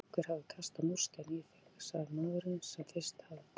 Ég held að einhver hafi kastað múrsteini í þig sagði maðurinn sem fyrst hafði talað.